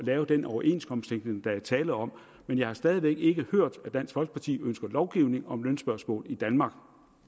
lave den overenskomstdækning der er tale om men jeg har stadig væk ikke hørt at dansk folkeparti ønsker lovgivning om lønspørgsmål i danmark